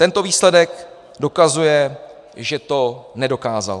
Tento výsledek dokazuje, že to nedokázal.